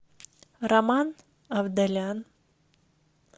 роман авдалян